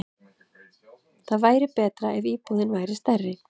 Það væri betra ef íbúðin væri stærri.